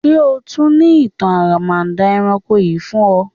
Ṣe o tun ni itan aramada ẹranko l fun ọ?